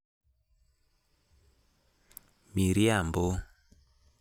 Miriambo